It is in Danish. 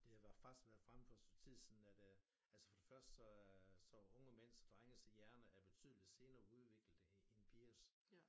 Det har været faktisk været fremme for et stykke tid siden at øh altså for det første så øh så er unge mænds og drenges hjerne er betydeligt senere udviklet end pigers